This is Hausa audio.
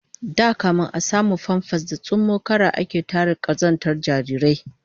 Da kafin a samu famfas da tsummokara ake tare kazantar jarirai